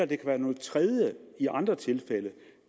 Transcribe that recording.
kan være noget tredje i andre tilfælde